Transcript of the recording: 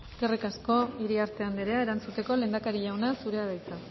eskerrik asko iriarte anderea erantzuteko lehendakari jauna zurea da hitza